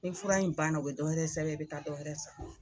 Ni fura in banna u be dɔ wɛrɛ sɛbɛn i bɛ taa dɔ wɛrɛ san.